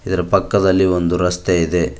ಇದರ ಪಕ್ಕದಲ್ಲಿ ಒಂದು ರಸ್ತೆ ಇದೆ.